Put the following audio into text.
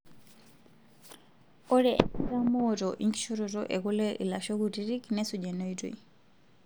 Ore enkitamooto enkishoroto ekule ilashoo kutiti nesuj ena oitoi;